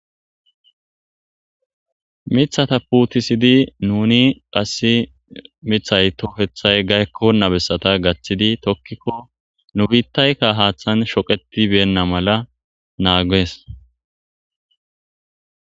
mithata puutisidi nuni qassi mithay tohethay gaykkona bessata gaththidi tokkikko nu biittaykka haaththan shoketibeenna mala naaggees